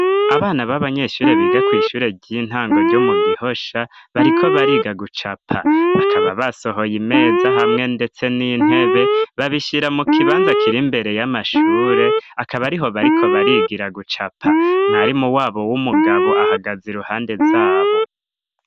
Abana b'abanyeshure biga kw'ishure ry'intango ryo mu gihosha bariko bariga gucapa bakaba basohoye imeza hamwe, ndetse n'intebe babishira mu kibanza kira imbere y'amashure akaba ari ho bariko barigira gucapa mwarimu wabo w'umugabo ahagaza i ruhande zabo.